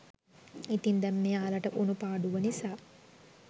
ඉතින් දැන් මෙයාලට වුනු පාඩුව නිසා